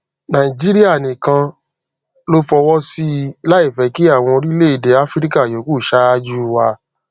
nàìjíríà nìkan ló fọwọ sí i láì fẹ kí àwọn orílẹ-èdè áfíríkà yòókù ṣáájú wa